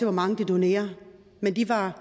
hvor mange de donerer men de var